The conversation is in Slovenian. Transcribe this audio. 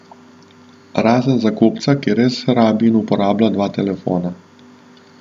Razen za kupca, ki res rabi in uporablja dva telefona.